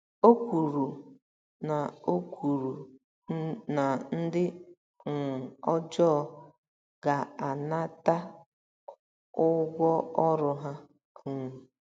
O kwuru na O kwuru na ndị um ọjọọ ga - anata ụgwọ ọrụ ha um.